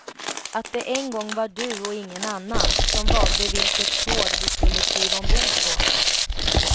Att det en gång var du och ingen annan som valde vilket tåg du skulle kliva ombord på.